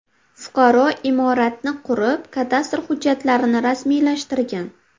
Fuqaro imoratni qurib, kadastr hujjatlarini rasmiylashtirgan.